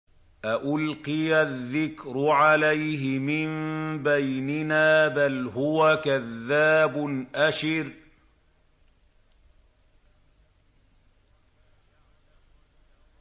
أَأُلْقِيَ الذِّكْرُ عَلَيْهِ مِن بَيْنِنَا بَلْ هُوَ كَذَّابٌ أَشِرٌ